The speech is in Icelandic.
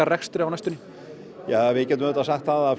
rekstri á næstunni við getum sagt að